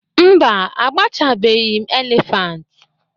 mba, agbachabeghị m elephant